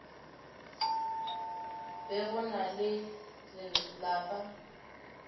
be go na le lapa